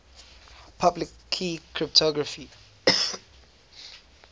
public key cryptography